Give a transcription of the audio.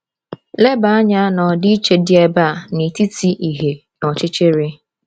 Leba anya na ọdịiche dị ebe a n’etiti ìhè na ọchịchịrị.